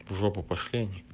в жопу пошли они